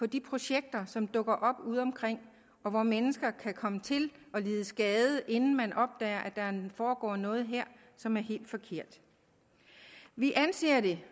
de projekter som dukker op ude omkring og hvor mennesker kan komme til at lide skade inden man opdager at der foregår noget som er helt forkert vi anser det